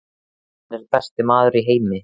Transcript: Hann er besti maður í heimi.